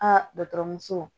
Aa dɔgɔtɔrɔso